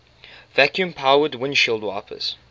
vacuum powered windshield wipers